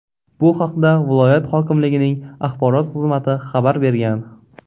Bu haqda viloyat hokimligining axborot xizmati xabar bergan .